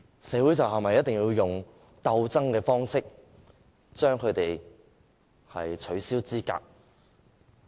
社會是否一定要用鬥爭的方式取消他們的資格？